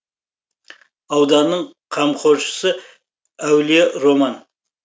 ауданның қамқоршысы әулие роман